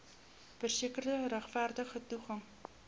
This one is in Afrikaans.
verseker regverdige toegang